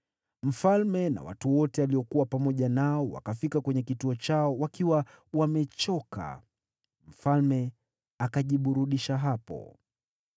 Mfalme na watu wote aliokuwa pamoja nao wakafika kwenye kituo chao wakiwa wamechoka. Mfalme akajiburudisha hapo.